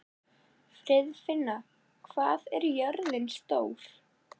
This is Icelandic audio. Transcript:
Friðfinna, hvað er jörðin stór?